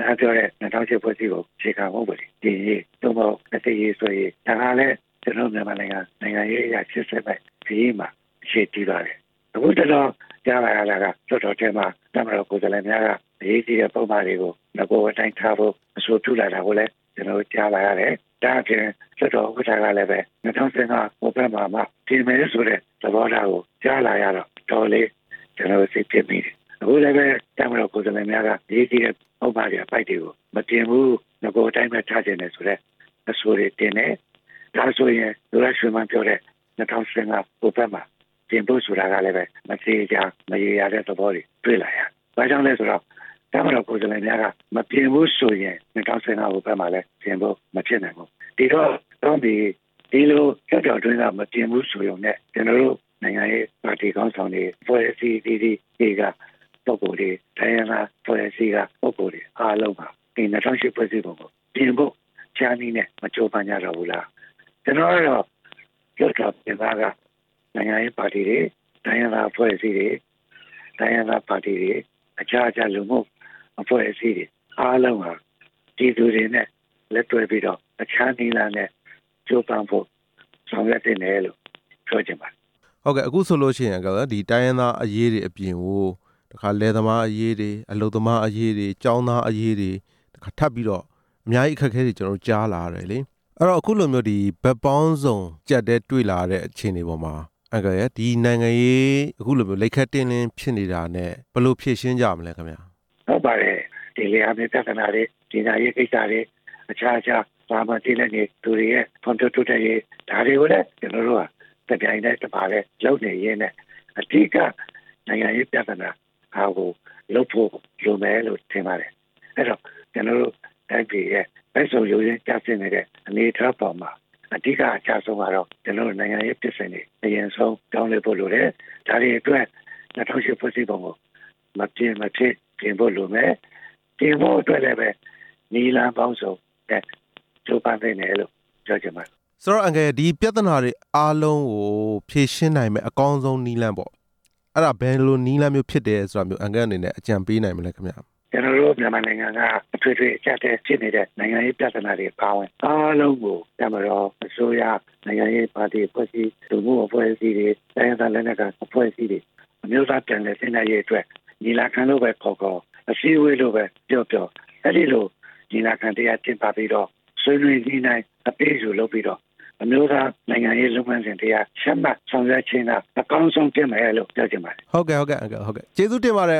ဝ၈ ဖွဲ့စည်ပုံအခြေခံဥပဒေ ပြင်ရေး၊ သို့မဟုတ် အသစ်ရေးဆွဲရေး ဒါဟာလည်း ကျနော်တို့ မြန်မာနိုင်ငံ နိုင်ငံရေးအရ အခုကတော့ ကြားလာရတာက လွှတ်တော်ထဲမှာ လွှတ်တော်ကိုယ်စားလှယ်များက အရေးကြီးတဲ့ပုဒ်မတွေကို နဂိုအတိုင်းထားဖို့ အဆိုပြုလာတာကိုလည်း ကျနော်တို့ ကြားလာရတယ်၊ ဒါ့အပြင် လွှတ်တော်ဥက္ကဌကလည်း ၂ဝ၁၅ ဟိုဘက်မှာမှပြင်မယ်ဆိုတဲ့ သဘောထားကိုကြားလာရတော့ တော်တော်လေး ကျနော်တို့ စိတ်ပျက်မိတယ်၊ အခုလည်းပဲ တပ်မတော်ကိုယ်စားလှယ်များက အရေးကြီးတဲ့ ပုဒ်မတွေ၊ အပိုဒ်တွေကို မပြင်ဘူး၊ နဂိုအတိုင်းပဲထားချင်တယ်ဆိုတဲ့ အဆိုတွေတင်တယ်၊ ဒါဆိုရင် သူရရွှေမန်းပြောတဲ့ ၂ဝ၁၅ ဟိုဘက်မှာ ပြင်ဖို့ဆိုတာကလည်းပဲ မသေချာ မရေရာတဲ့သဘောတွေတွေ့လာရတယ်၊ ဘာကြောင့်လည်းဆိုတော့ တပ်မတော် ကိုယ်စားလှယ်များက မပြင်ဘူးဆိုရင် ၂ဝ၁၅ ဟိုဘက်မှာလည်း ပြင်ဖို့မဖြစ်နိုင်ဘူး၊ ဒီလိုလွှတ်တော်အတွင်းက မပြင်ဘူးဆိုပေမယ့် ကျနော်တို့ နိုင်ငံရဲ့ပါတီခေါင်းဆောင်တွေ၊ အဖွဲ့အစည်းအသီးသီးတွေက ပုဂ္ဂိုလ်တွေ၊ တိုင်းရင်းသားအဖွဲ့အစည်းက ပုဂ္ဂိုလ်တွေအားလုံးဟာ ဒီ ၂ဝဝ၈ ဖွဲ့စည်းပုံကိုပြင်ဖို့ တခြားနည်နဲ့ပြင်ဖို့ မကြိုးပမ်းကြတော့ဘူးလား၊ ကျနော်ကတော့ လွှတ်တော်ပြင်ပက နိုင်ငံရေးပါတီတွေ၊ တိုင်းရင်းသားပါတီတွေ၊ တခြားလူမှှုအဖွဲ့အစည်းတွေ အားလုံးဟာ ပြည်သူတွေနဲ့ လက်တွဲပြီးတော့ အခြားနည်းလမ်းနဲ့ ကြိုးပမ်းဖို့ဆောင်ရွက်သင့်တယ်လို့ ပြောချင်ပါတယ်။ ဟုတ်ကဲ့ အခုဆိုလို့ရှိရင် တိုင်းရင်းသားအရေးတွေအပြင်ကို လယ်သမားအရေးတွေ၊ အလုပ်သမားအရေးတွေ၊ ကျောင်းသားအရေးတွေ ထပ်ပြီးတော့ အများကြီးအခက်အခဲတွေ ကျနော်တို့ ကြားလာရတယ်လေ၊ အဲ့ဒီတော့ အခုလိုမျိုးဘက်ပေါင်းစုံ အကျပ်အတည်းတွေ့လာရတဲ့ အခြေအနေတွေပေါ်မှာ အန်ကယ်လ်ရယ် ဒီနိုင်ငံရေး အခုလိုမျိုး လိပ်ခဲတင်းတင်းဖြစ်နေတာနဲ့ ဘယ်လိုဖြေရှင်းကြမလဲခင်ဗျ။ ဟုတ်ပါတယ် လယ်ယာမြေပြဿနာတွေ၊ ပညာရေးကိစ္စတွေ၊ ဒါတွေကိုလည်း ကျနော်တို့ဟာ တပြိုင်တည်း တပါတည်းလုပ်နေရင်းနဲ့ အဓိကနိုင်ငံရေးပြဿနာဟာကို လုပ်ဖို့လို့မယ်လို့ ထင်ပါတယ်၊ အဲ့ဒီတော့ ကျနော်တို့တိုင်းပြည်ရဲ့ ဘက်စုံယိုယွင်းကျဆင်းနေတဲ့ အနေအထားပေါ်မှာ အဓိကအကျဆုံးကတော့ ကျနော်တို့ နိုင်ငံဖြစ်စဉ်တွေ အရင်ဆုံးပြောင်းလဲဖို့လိုတယ်၊ ဒါတွေအတွက် ၂ဝဝ၈ ဖွဲ့စည်းပုံကို မပြင်မဖြစ်ပြင်ဖို့လိုမယ်၊ ပြင်ဖို့အတွက်လည်းပဲ နည်းလမ်းပေါင်းစုံနဲ့ ကြိုးပမ်းသင့်တယ်လို့ ပြောချင်ပါတယ်။ ဆိုတော့ အန်ကယ်လ် ဒီပြဿနာတွေအားလုံးကို ဖြေရှင်းနိုင်မဲ့ အကောင်းဆုံးနည်းလမ်းပေါ့၊ အဲ့ဒါဘယ်လိုနည်းလမ်း ဖြစ်မယ်ဆိုတာမျိုး အန်ကယ်လ်အနေနဲ့ ဘယ်လိုအကြံပေးနိုင်မလဲခင်ဗျ။ ကျနော်တို့ မြန်မာနိုင်ငံက အထွေထွေအကျပ်အတည်းဖြစ်နေတဲ့ နိုင်ငံရေးပြဿနာတွေအားလုံးဟာ အားလုံးကို တပ်မတော်၊ အစိုးရ၊ နိုင်ငံရေးပါတီအဖွဲ့အစည်း၊ လူမှှုအဖွဲ့အစည်းတွေ၊ တိုင်းရင်းသားလက်နက်ကိုင် အဖွဲ့အစည်းတွေ အမျိုးသားပြန်လည်သင့်မြတ်ရေးအတွက် ညီလာခံလို့ပဲခေါ်ခေါ် အစည်းအဝေးလို့ပဲပြောပြော အဲ့ဒီလိုညီလာခံတစ်ရပ်ကျင်းပပြီးတော့ ဆွေးနွေးညှိနှှိုင်းပြီးတော့ အမျိုးသားနိုင်ငံရေးလုပ်ငန်းစဉ်တစ်ရပ် ချမှတ်ဆောင်ရွက်ခြင်းက အကောင်းဆုံးဖြစ်မယ်လို့ ပြောချင်ပါတယ်။ ဟုတ်ကဲ့၊ ဟုတ်ကဲ့ အန်ကယ်လ်၊ ကျေးဇူးတင်ပါတယ်